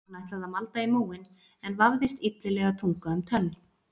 Hann ætlaði að malda í móinn en vafðist illilega tunga um tönn.